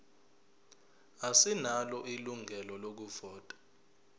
asinalo ilungelo lokuvota